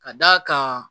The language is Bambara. Ka d'a kan